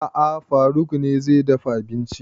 A'a faruk ne zai dafa abinci